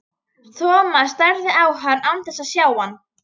Thomas starði á hann án þess að sjá hann.